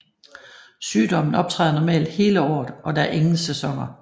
Sygdommen optræder normalt hele året og der er ingen sæsoner